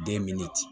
Den min